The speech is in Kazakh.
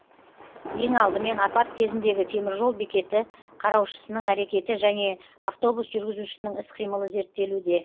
ең алдымен апат кезіндегі теміржол бекеті қараушысының әрекеті және автобус жүргізушісінің іс қимылы зерттелуде